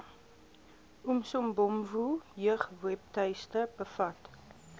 umsobomvu jeugwebtuiste bevat